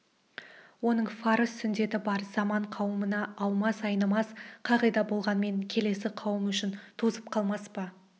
оның фарыз сүндеті бар заман қауымына аумас айнымас қағида болғанмен келесі қауым үшін тозып қалмас па